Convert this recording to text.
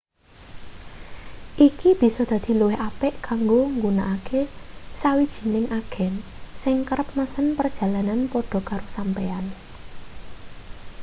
iki bisa dadi luwih apik kanggo nggunakake sawijining agen sing kerep mesen perjalanan padha karo sampeyan